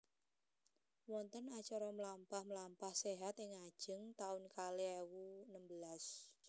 Wonten acara mlampah mlampah sehat ing ngajeng taun kalih ewu nembelas